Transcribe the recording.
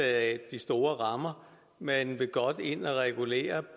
af de store rammer men vil godt ind og regulere